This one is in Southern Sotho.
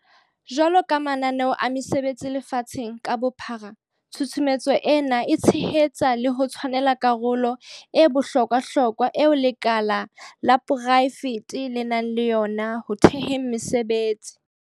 Jwalo ka mananeo a mesebetsi lefatsheng ka bophara, tshusumetso ena e tshehetsa le ho tshwanela karolo e bohlo kwahlokwa eo lekala la porae fete le nang le yona ho theheng mesebetsi.